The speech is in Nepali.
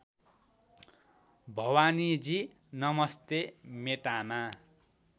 भवानीजी नमस्ते मेटामा